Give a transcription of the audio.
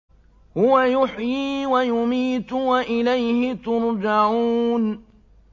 هُوَ يُحْيِي وَيُمِيتُ وَإِلَيْهِ تُرْجَعُونَ